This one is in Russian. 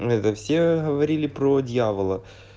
это все говорили про дьявола